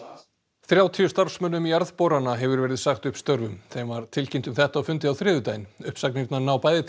þrjátíu starfsmönnum jarðborana hefur verið sagt upp störfum þeim var tilkynnt um þetta á fundi á þriðjudaginn uppsagnirnar ná bæði til